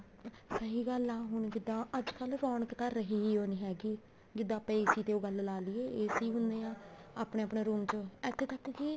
ਸਹੀ ਗੱਲ ਆ ਹੁਣ ਜਿੱਦਾਂ ਅੱਜਕਲ ਰੋਣਕ ਤਾਂ ਰਹੀ ਓ ਨੀ ਹੈਗੀ ਜਿੱਦਾਂ ਆਪਾਂ AC ਤੇ ਓ ਗੱਲ ਲਾਲੀਏ AC ਹੁਣੇ ਆ ਆਪਣੇ ਆਪਣੇ room ਚ ਇੱਥੇ ਤੱਕ ਕੀ